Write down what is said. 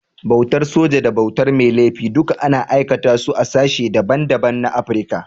Bautar soji da bautar mai laifi duka ana aikata su a sashen da ban da ban na Afrika.